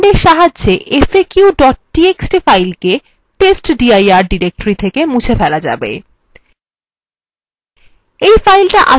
এই command সাহায্যে faq txt file কে/testdir directory থেকে মুছে ফেলা যাবে